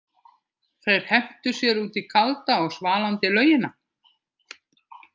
Þeir hentu sér út í kalda og svalandi laugina.